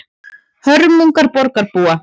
Hörmungar borgarbúa